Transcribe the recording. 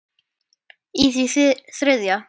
í því þriðja.